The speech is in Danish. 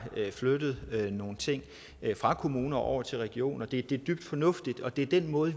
flyttet nogle ting fra kommuner over til regioner det er dybt fornuftigt og det er den måde